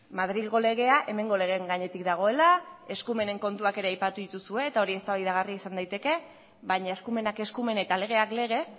madrilgo legea hemengo legeen gainetik dagoela eskumenen kontuak ere aipatu dituzue eta hori eztabaidagarria izan daiteke baina eskumenak eskumen eta legeak lege